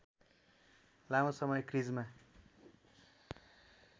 लामो समय क्रिजमा